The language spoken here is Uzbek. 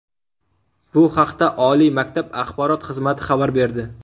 Bu haqda oliy maktab axborot xizmati xabar berdi .